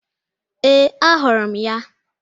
Ee, ahụrụ m ya.